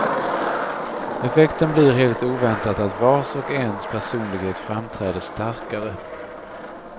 Effekten blir helt oväntat att vars och ens personlighet framträder starkare.